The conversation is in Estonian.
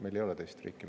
Meil ei ole teist riiki.